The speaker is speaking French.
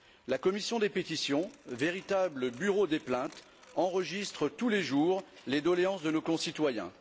La commission des pétitions, véritable bureau des plaintes, enregistre tous les jours les doléances de nos concitoyens.